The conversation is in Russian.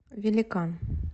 великан